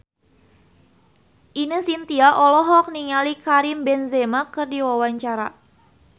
Ine Shintya olohok ningali Karim Benzema keur diwawancara